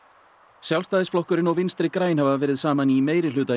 Sjálfstæðisflokkurinn og Vinstri græn hafa verið saman í meirihluta